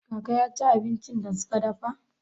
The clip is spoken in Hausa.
Kaka ya ci abincin da suka dafa?